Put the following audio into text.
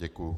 Děkuji.